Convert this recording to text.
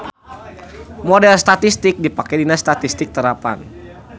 Model statistik dipake dina statistik terapan.